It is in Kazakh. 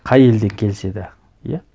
қай елден келсе де иә